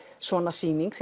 svona sýning